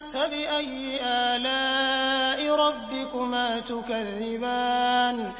فَبِأَيِّ آلَاءِ رَبِّكُمَا تُكَذِّبَانِ